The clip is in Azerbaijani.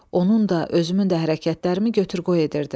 Onun da, özümün də hərəkətlərimi götür-qoy edirdim.